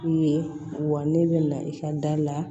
I ye wa ne bɛ na i ka da la